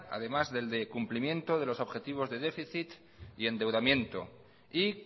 además del de cumplimiento de los objetivos de déficit y endeudamiento y